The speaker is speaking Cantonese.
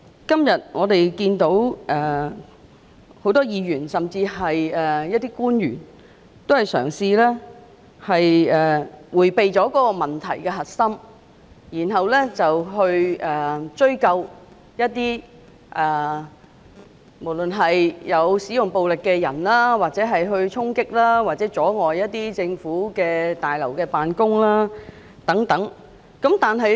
今天會議上多位議員、甚至部分官員均嘗試迴避問題的核心，並追究不論有否使用暴力的人士的衝擊或阻礙政府大樓辦公等行為。